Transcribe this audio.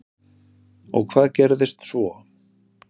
Og hvað gerðist svo?